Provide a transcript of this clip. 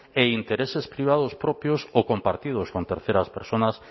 e intereses privados propios o compartidos con terceras personas